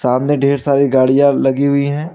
सामने ढेर सारी गाड़ियां लगी हुई है।